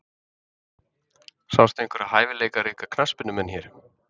Sástu einhverja hæfileikaríka knattspyrnumenn hér?